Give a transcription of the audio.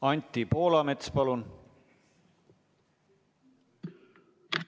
Anti Poolamets, palun!